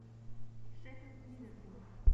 шеффилд ливерпуль